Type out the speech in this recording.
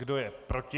Kdo je proti?